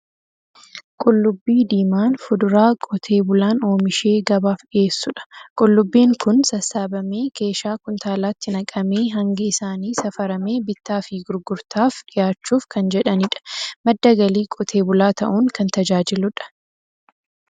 Qullubbii diimaan fuduraa qotee bulaan oomishee gabaaf dhiyeessudha. Qullubbiin kun sassaabamee keeshaa kuntaalaatti naqamee, hangi isaanii safaramee bittaa fi gurgurtaaf dhiyaachuuf kan jedhanidha. Madda galii qotee bulaa ta'uun kan tajaajiludha.